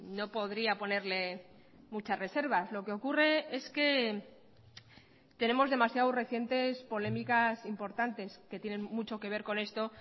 no podría ponerle muchas reservas lo que ocurre es que tenemos demasiado recientes polémicas importantes que tienen mucho que ver con esto